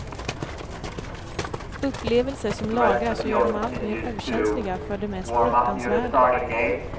Upplevelser som lagras och gör dem allt mer okänsliga för det mest fruktansvärda.